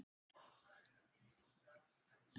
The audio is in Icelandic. Annars vilja fleiri koma með.